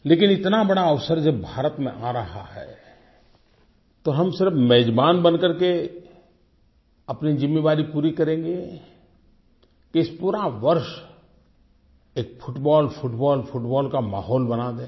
लेकिन इतना बड़ा अवसर जब भारत में आ रहा है तो हम सिर्फ़ मेज़बान बन कर के अपनी जिम्मेवारी पूरी करेंगे इस पूरा वर्ष एक फुटबॉल फुटबॉल फुटबॉल का माहौल बना दें